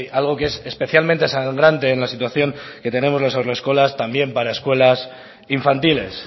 algo que es especialmente sangrante en la situación que tenemos en las haurreskolas también para escuelas infantiles